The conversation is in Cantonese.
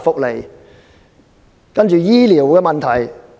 接着是醫療的問題。